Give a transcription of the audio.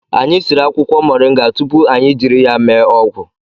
Anyị siri akwụkwọ moringa tupu anyị jiri ya mee ọgwụ